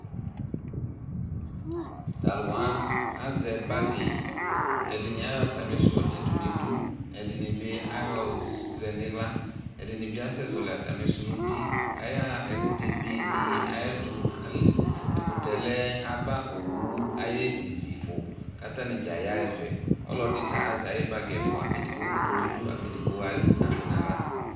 Ta lʋ wa azɛ bagɩ; ɛdɩnɩ ayɔ atamɩ sʋ yɔ tsɩ tʋ n' idu, ɛdɩnɩ bɩ ayɔ zɛ nɩɣla ,ɛdɩnɩ bɩ asɛ zɔlɩ atamɩ sʋ nuti kayaɣa ɛkʋtɛ be dɩ ayɛtʋƐkʋtɛ lɛ ava owu ayɛzifʋ katanɩ dza yaɣaɛfɛ; ɔlɔdɩ ta azɛ ayʋ bagɩ ɛfʋa: edigbo tʋ n' idu akedigbo azɛ n aɣla